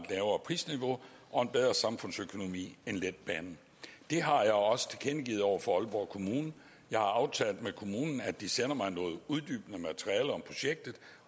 lavere prisniveau og en bedre samfundsøkonomi end letbanen det har jeg også tilkendegivet over for aalborg kommune jeg har aftalt med kommunen at de sender mig noget uddybende materiale om projektet